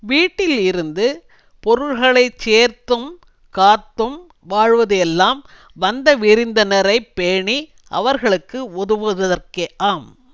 வீட்டில் இருந்து பொருள்களை சேர்த்தும் காத்தும் வாழ்வது எல்லாம் வந்த விருந்தினரை பேணி அவர்களுக்கு உதவுவதற்கே ஆம்